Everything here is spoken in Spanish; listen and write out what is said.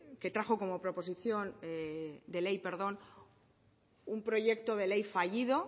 que trajo como proposición de ley un proyecto de ley fallido